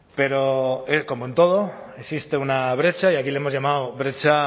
pero como en todo existe una brecha y aquí le hemos llamado brecha